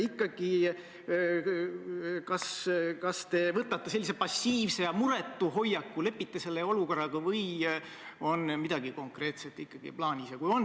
Ja teate, need lippude taustal tehtud pildid olid väga erinevad: kus oli üks Eesti lipp, kus oli Eesti lippe rohkem, kus olid nii Eesti kui ka Euroopa Liidu lipud.